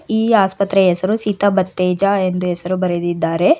ಈ ಆಸ್ಪತ್ರೆಯ ಹೆಸರು ಸಿತಾ ಬತ್ತೇಜಾ ಎಂದು ಹೆಸರು ಬರೆದಿದ್ದಾರೆ.